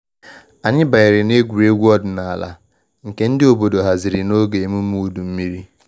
Anyị banyere egwuregwu ọdịnala nke ndị obodo haziri na oge emume udu mmiri.